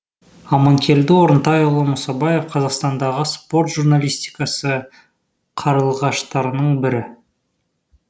аманкелді орынтайұлы мұсабаев қазақстандағы спорт журналистикасы қарлығаштарының бірі